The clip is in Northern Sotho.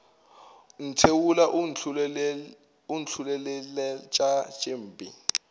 ntheola o ntlholeletša tše mpe